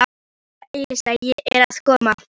Elísa, Elísa, ég er að koma